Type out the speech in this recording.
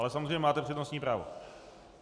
Ale samozřejmě máte přednostní právo.